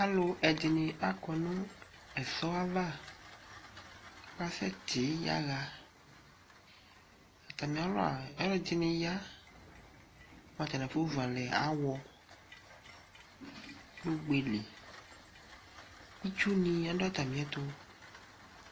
alɔ ɛdini akʊ nu ɛsɔ ayava akasɛti yaɣa atani ɛdini aya nu atani afɔvɔ awɔ nu ɔgɛli itcɔni adɔ atamiɛtɔ